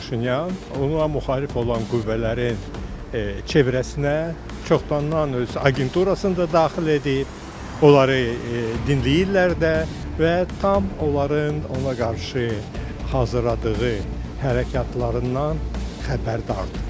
Paşinyan, ona müxalif olan qüvvələrin çevrəsinə çoxdan öz agenturasını da daxil edib, onları dinləyirlər də və tam onların ona qarşı hazırladığı hərəkatlarından xəbərdardır.